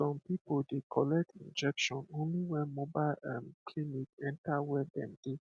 some people dey collect injection only when mobile um clinic enter where dem dey